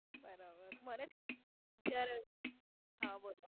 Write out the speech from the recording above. બરાબર. હા બોલો. મને જ જયારે. હા બોલો.